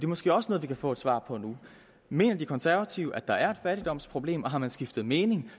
måske også noget vi kan få et svar på nu mener de konservative at der er et fattigdomsproblem og har man skiftet mening